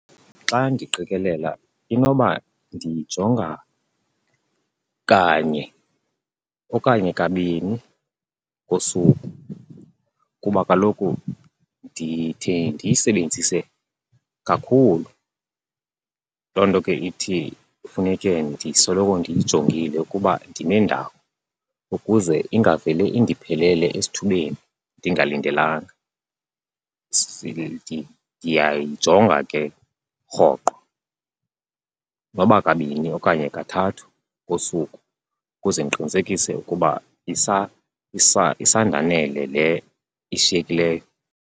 Xa ndiqikelela inoba ndiyijonga kanye okanye kabini ngosuku kuba kaloku ndithi ndiyisebenzise kakhulu. Loo nto ke ithi funeke ndisoloko ndiyijongile ukuba ndime ndawoni ukuze ingavele indiphelele esithubeni ndingalindelanga. Ndiyayijonga ke rhoqo, noba kabini okanye kathathu ngosuku ukuze ndiqinisekise ukuba isandanele le ishiyekileyo.